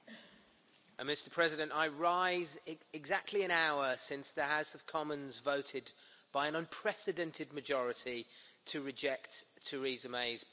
Mr President, I rise exactly an hour since the House of Commons voted by an unprecedented majority to reject Theresa May's Brexit deal.